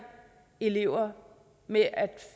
elever med at